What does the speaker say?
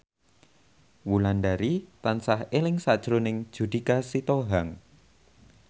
Wulandari tansah eling sakjroning Judika Sitohang